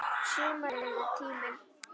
Sumarið er tíminn.